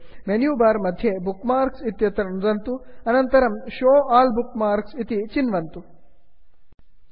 menu bar मध्ये bookmarks book marks इत्यत्र नुदन्तु अनन्तरं show all bookmarks show all book marks इति चिन्वन्तु